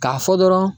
K'a fɔ dɔrɔn